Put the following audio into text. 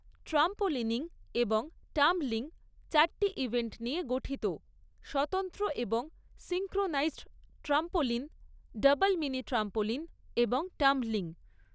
Trampolining এবং tumbling চারটি event নিয়ে গঠিত, স্বতন্ত্র এবং synchronised trampoline, double mini trampoline এবং টাম্বলিং।